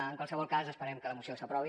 en qualsevol cas esperem que la moció s’aprovi